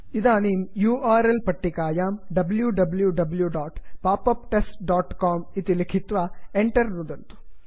इदानीं U R L पट्टिकायां wwwpopuptestcom W W W dot pop up test dot com इति लिखित्वा Enter enter नुदन्तु